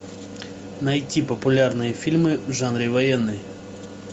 найти популярные фильмы в жанре военный